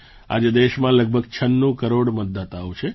આજે દેશમાં લગભગ ૯6 કરોડ મતદાતાઓ છે